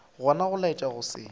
gona go laetša go se